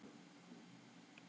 Er ég úti á túni í þessu?